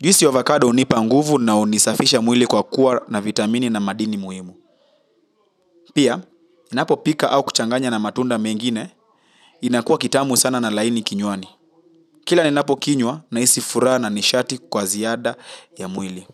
Juisi avocado hunipa nguvu na unisafisha mwili kwa kuwa na vitamini na madini muhimu. Pia, ninapopika au kuchanganya na matunda mengine, inakuwa kitamu sana na laini kinywani. Kila ninapokinywa nahisi furaha na nishati kwa ziada ya mwili.